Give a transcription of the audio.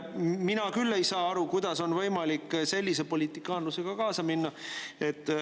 Mina küll ei saa aru, kuidas on võimalik sellise politikaanlusega kaasa minna.